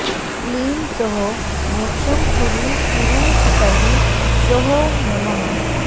क्लीं सौः मोक्षं कुरु कुरु ह्सौः शौः नमः